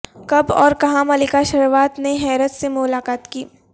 کب اورکہاں ملیکا شروا ت نے ہیرس سے ملاقات کی